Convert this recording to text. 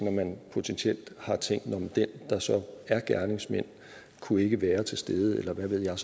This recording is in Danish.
at man potentielt har tænkt nå men den der så er gerningsmand kunne ikke være til stede eller hvad ved jeg